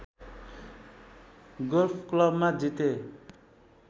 golf क्लबमा जिते